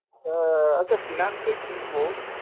আহ আচ্ছা finance এ কিনবো।